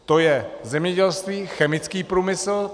To je zemědělství, chemický průmysl.